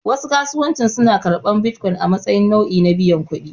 Wasu kasuwancin suna karɓar bitcoin a matsayin nau'i na biyan kuɗi.